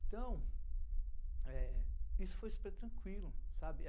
Então, eh isso foi super tranquilo, sabe?